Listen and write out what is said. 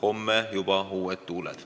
Homme on juba uued tuuled.